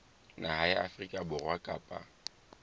naha ya afrika borwa kapa